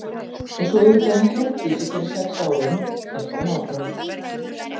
Og svo auðvitað hana Herdísi fyrir sex árum, hélt hann áfram.